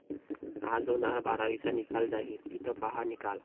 आज होणार बारावीचा निकाल जाहीर, इथं पाहा निकाल